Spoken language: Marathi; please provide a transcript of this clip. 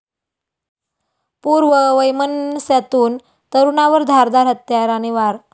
पूर्ववैमनस्यातून तरूणावर धारदार हत्याराने वार